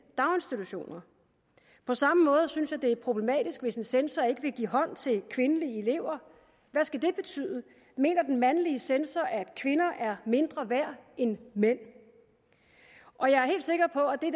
daginstitutioner på samme måde synes jeg det er problematisk hvis en censor ikke vil give hånd til kvindelige elever hvad skal det betyde mener den mandlige censor at kvinder er mindre værd end mænd og jeg er helt sikker på at det